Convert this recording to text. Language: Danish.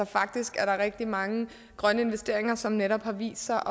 faktisk er der rigtig mange grønne investeringer som netop har vist sig